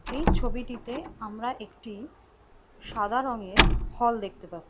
এই ছবিটিতে আমরা একটি- সাদা রঙের ফল দেখতে পাই।